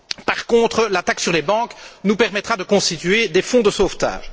Par contre, la taxe sur les banques nous permettra de constituer des fonds de sauvetage.